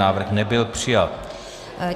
Návrh nebyl přijat.